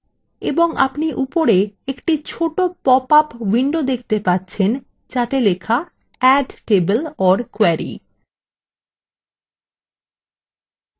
এবং আপনি উপরে একটি ছোট পপআপ window দেখতে পাচ্ছেন যাতে লেখা add table or query